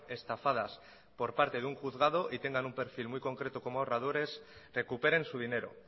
estafadas por parte de un juzgado y tengan un perfil muy concreto como ahorradores recuperen su dinero